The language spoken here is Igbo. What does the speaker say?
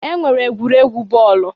E nwere egwuregwu bọọlụ.